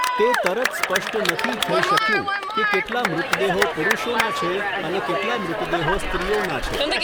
તે તરત સ્પષ્ટ નથી થઈ શક્યું કે કેટલા મૃતદેહો પુરુષોનાં છે અને કેટલા મૃતદેહો સ્ત્રીઓનાં છે.